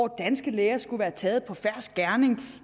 danske læger skulle være taget på fersk gerning